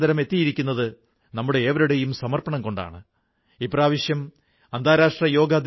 സാധാരണ നമ്മുടെ നാട്ടിൽ ആളുകൾ സ്നാനം ചെയ്യുമ്പോൾ പവിത്രമായ മനസ്സോടെ ഐക്യത്തിന്റെ മന്ത്രം ജപിക്കുന്നു